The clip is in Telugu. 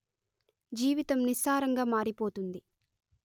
జీవితం నిస్సారంగా మారిపోతుంది